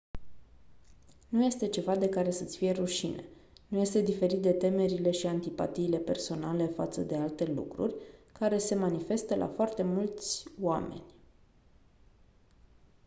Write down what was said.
nu este ceva de care să-ți fie rușine nu este diferit de temerile și antipatiile personale față de alte lucruri care se manifestă la foarte mulți oameni